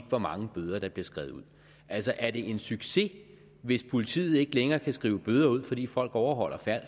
hvor mange bøder der bliver skrevet ud altså er det en succes hvis politiet ikke længere kan skrive bøder ud fordi folk overholder